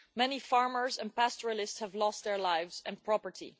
Many farmers and pastoralists have lost their lives and property.